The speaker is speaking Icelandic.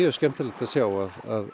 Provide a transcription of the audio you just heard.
skemmtilegt að sjá að